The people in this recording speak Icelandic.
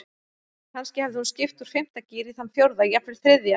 Kannski hafði hún skipt úr fimmta gír í þann fjórða, jafnvel þriðja.